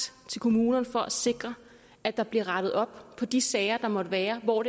til kommunerne for at sikre at der bliver rettet op på de sager der måtte være hvor